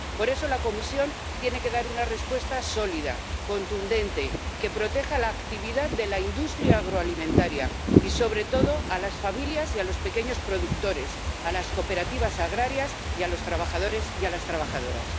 Por eso, la Comisión tiene que dar una respuesta sólida, contundente, que proteja la actividad de la industria agroalimentaria y, sobre todo, a las familias y a los pequeños productores, a las cooperativas agrarias y a los trabajadores y a las trabajadoras.